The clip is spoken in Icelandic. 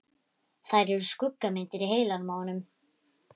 Þær eru skuggamyndir í heilanum á honum.